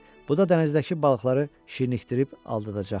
Bu da dənizdəki balıqları şirinlikdirib aldadacaqdı.